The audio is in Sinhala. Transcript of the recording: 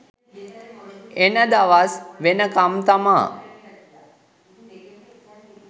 එන දවස් වෙනකම් තමා